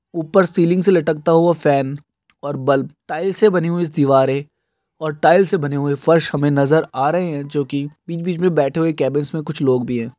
ऊपर सीलिंग से लटकता हुवा फॅन और बल्ब टाइल्स से बनी हुई दीवारे और टाइल्स से बने हुवे फर्श हमे नजर आ रहे है जो की बीच बीच मे बैठे हुवे केबेज मे कुछ लोग भी हे